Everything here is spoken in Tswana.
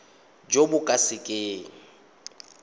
jo bo ka se keng